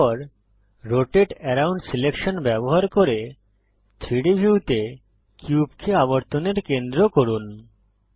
এরপর রোটাতে around selection ব্যবহার করে 3ডি ভিউতে কিউবকে আবর্তনের কেন্দ্র করুন